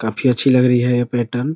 काफी अच्छी लग रही है ये पैटर्न ।